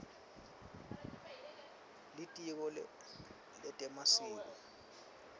litiko letemasiko